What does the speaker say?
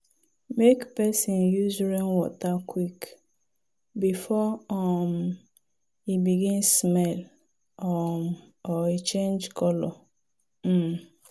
make person use rainwater quick before um e begin smell um or change colour. um